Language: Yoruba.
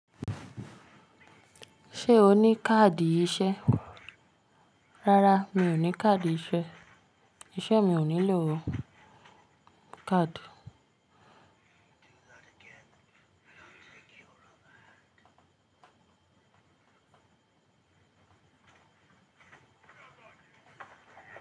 Ṣé o ní káàdì iṣẹ́? Rárá mi ò ní káàdì iṣẹ́. Iṣẹ́ mi ò nílò káàdì.